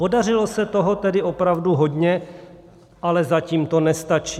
Podařilo se toho tedy opravdu hodně, ale zatím to nestačí.